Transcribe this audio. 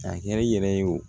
K'a kɛ i yɛrɛ ye o